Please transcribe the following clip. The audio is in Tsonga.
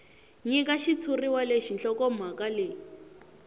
nyika xitshuriwa lexi nhlokomhaka leyi